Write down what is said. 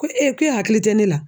Ko k'e hakili tɛ ne la?